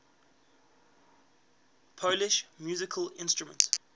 polish musical instruments